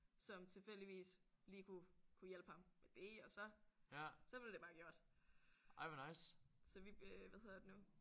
Som tilfældigvis lige kunne kunne hjælpe ham med det og så så blev det bare gjort. Så vi hvad hedder det nu